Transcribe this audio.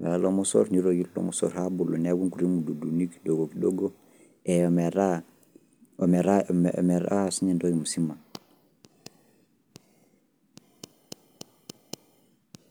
ore lelo mosor, nitoki lelo mosor abulu, neeku nkuti mududuni kidogo kidogo ,ometaa sinye entoki musima.